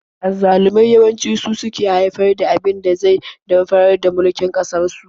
Azzalumai yawanci su suke haifar da abin da zai damfarar da mulkin su.